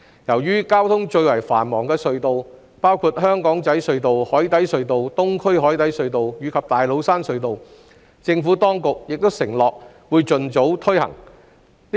至於交通最為繁忙的隧道，包括香港仔隧道、紅磡海底隧道、東區海底隧道及大老山隧道，政府當局亦承諾會盡早推行不停車繳費系統。